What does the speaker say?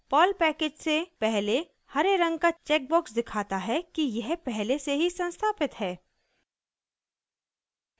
Perl package से पहले हरे रंग का चेक बॉक्स दिखाता है कि यह पहले से ही संस्थापित है